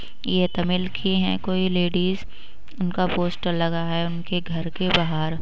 ये तमिल की है कोई लेडीज़ उनका पोस्टर लगा है उनके घर के बाहर।